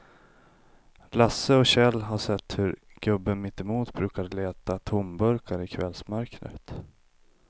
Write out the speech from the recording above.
Lasse och Kjell har sett hur gubben mittemot brukar leta tomburkar i kvällsmörkret.